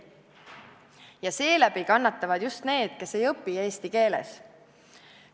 Ja seeläbi kannatavad just need, kes ei õpi eesti keeles.